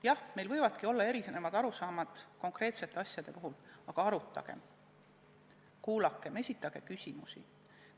Jah, meil võivadki olla erinevad arusaamad konkreetsete lahenduste puhul, aga arutagem, kuulakem, esitagem küsimusi!